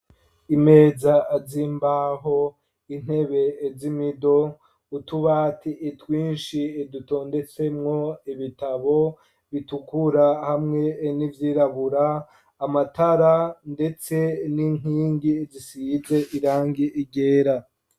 Imeza zimbaho intebe z'imido ,utubati twinshi dutondetsemwo ibitabo bitukura hamwe n'ivyirabura ,amatara ndetse n'inkingi zisize irangi ryera .